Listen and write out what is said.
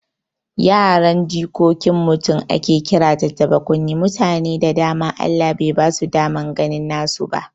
Yaran jikokin mutum ake kira tattaɓa kunne, mutane da dama Allah bai basu daman ganin nasu ba